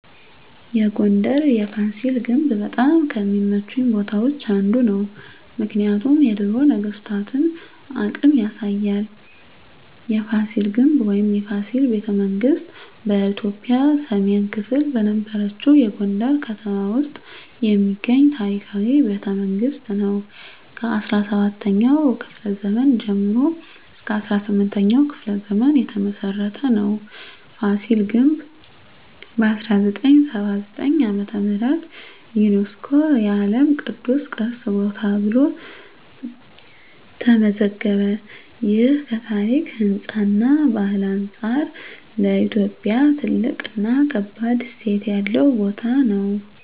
የጎንደር የፋሲል ግንብ በጣም ከሚመቹኝ ቦታዎች አንዱ ነው። ምክንያቱም የድሮ ነገስታቶን አቅም ያሳያል። የፋሲል ግንብ ወይም “የፋሲል ቤተመንግስት ” በኢትዮጵያ ሰሜን ክፍል በነበረችው የጎንደር ከተማ ውስጥ የሚገኝ ታሪካዊ ቤተመንግስት ነው። ከ17ኛው ክፍለ ዘመን ጀምሮ እስከ 18ኛው ክፍለ ዘመን የተመሰረተ ነው። ፋሲል ግንብ በ1979 ዓ.ም. ዩነስኮ የዓለም ቅዱስ ቅርስ ቦታ ተብሎ ተመዘገበ። ይህ ከታሪክ፣ ህንፃ እና ባህል አንጻር ለኢትዮጵያ ትልቅ እና ከባድ እሴት ያለው ቦታ ነው።